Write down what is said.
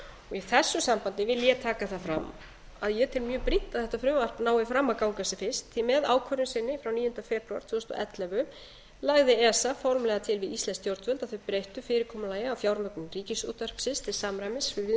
í þessu sambandi vil ég taka það fram að ég tel mjög brýnt að þetta frumvarp nái fram að ganga sem fyrst því að ákvörðun sinni frá níunda febrúar tvö þúsund og ellefu lagði esa formlega til við íslensk stjórnvöld að þau breyttu fyrirkomulagi á fjármögnun ríkisútvarpsins til samræmis við viðmiðunarreglur